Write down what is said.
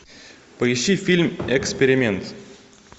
поищи фильм эксперимент